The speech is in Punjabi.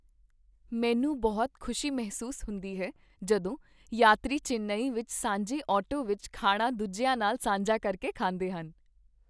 ਮੈਨੂੰ ਬਹੁਤ ਖੁਸ਼ੀ ਮਹਿਸੂਸ ਹੁੰਦੀ ਹੈ ਜਦੋਂ ਯਾਤਰੀ ਚੇਨਈ ਵਿੱਚ ਸਾਂਝੇ ਆਟੋ ਵਿੱਚ ਖਾਣਾ ਦੂਜਿਆਂ ਨਾਲ ਸਾਂਝਾ ਕਰਕੇ ਖਾਂਦੇ ਹਨ।